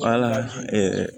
Wala